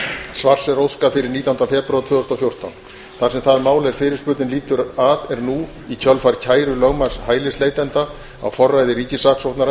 svars er óskað fyrir nítjánda febrúar tvö þúsund og fjórtán þar sem það mál er fyrirspurnin lýtur að er nú í kjölfar kæru lögmanns hælisleitanda á forræði ríkissaksóknara